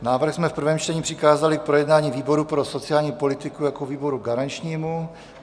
Návrh jsme v prvém čtení přikázali k projednání výboru pro sociální politiku jako výboru garančnímu.